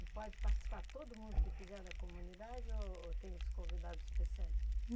E pode participar todo mundo que quiser da comunidade ou ou tem os convidados especiais?